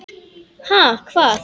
Ha, hvað?